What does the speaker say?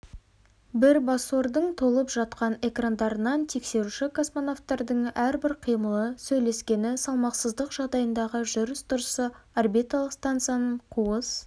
бірбасордың толып жатқан экрандарынан тексеруші космонавтардың әрбір қимылы сөйлескені салмақсыздық жағдайындағы жүріс-тұрысы орбиталық станцияның қуыс